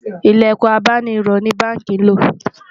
ilẹkùn abáni rò ní bánkì ló